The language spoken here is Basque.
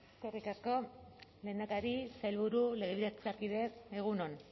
eskerrik asko lehendakari sailburu legebiltzarkideok egun on